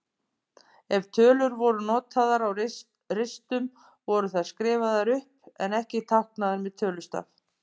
Ef tölur voru notaðar á ristum voru þær skrifaðar upp en ekki táknaðar með tölustaf.